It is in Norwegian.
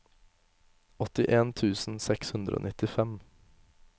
åttien tusen seks hundre og nittifem